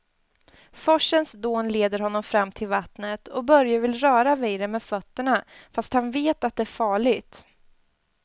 Forsens dån leder honom fram till vattnet och Börje vill röra vid det med fötterna, fast han vet att det är farligt.